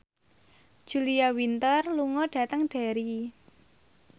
Julia Winter lunga dhateng Derry